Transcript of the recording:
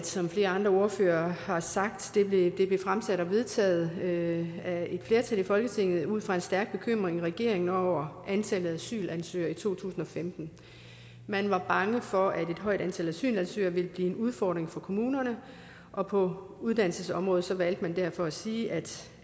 som flere andre ordførere har sagt vedtaget af et flertal i folketinget ud fra en stærk bekymring i regeringen over antallet af asylansøgere i to tusind og femten man var bange for at et højt antal asylansøgere ville blive en udfordring for kommunerne og på uddannelsesområdet valgte man derfor at sige at